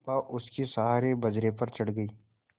चंपा उसके सहारे बजरे पर चढ़ गई